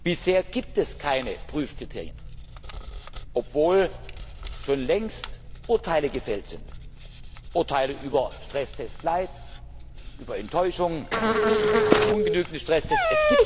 Bisher gibt es keine Prüfkriterien, obwohl schon längst Urteile gefällt sind Urteile über Stresstest light, über Enttäuschung, über ungenügende Stresstests.